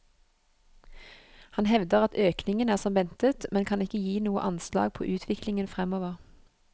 Han hevder at økningen er som ventet, men kan ikke gi noe anslag på utviklingen fremover.